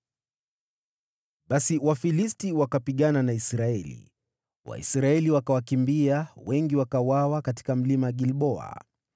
Basi Wafilisti wakapigana na Israeli. Waisraeli wakawakimbia, na wengi wakauawa katika mlima Gilboa.